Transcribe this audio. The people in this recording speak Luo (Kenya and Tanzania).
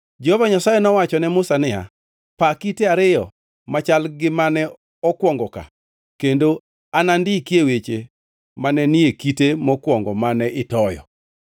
Jehova Nyasaye nowacho ne Musa niya, “Paa kite ariyo machal gi mane okwongo ka kendo anandikie weche mane ni e kite mokwongo mane itoyo.